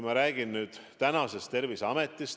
Ma räägin nüüd tänasest Terviseametist.